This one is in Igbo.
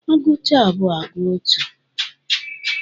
A gụcha abụọ, agụọ atọ.